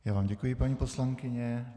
Já vám děkuji, paní poslankyně.